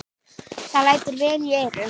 Það lætur vel í eyrum.